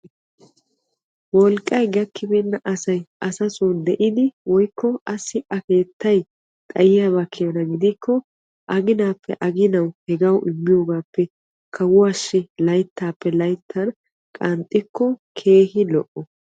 Wolqqay gakkibeena asay asassi de'iddi aginan aginan asawu immiyoogappe kawuwassi layttan layttan qanxxiyooge lo'o.